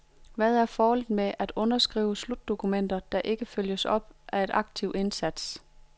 Hvad er formålet med at underskrive slutdokumenter der ikke følges op af aktiv indsats?